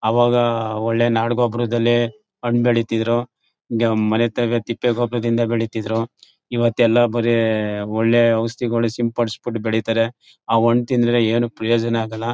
ಆವಾಗ ಒಳ್ಳೆ ನಾಡ್ ಗೊಬ್ಬರದಲ್ಲೇ ಹಣ್ಣ್ ಬೆಳೀತಿದ್ರು ಈಗ ಮನೆತಾವೆ ತಿಪ್ಪೆ ಗೊಬ್ಬರದಿಂದ ಬೆಳೀತಿದ್ರು ಇವತ್ ಎಲ್ಲಾ ಬರೇ ಒಳ್ಳೆ ಔಷಧಿಗಳು ಸಿಂಪಡಿಸ್ಬಿಟ್ಟು ಬೆಳೀತಾರೆ ಅವು ಹಣ್ಣ್ ತಿಂದ್ರೆ ಏನು ಪ್ರಯೋಜನ ಆಗಲ್ಲ.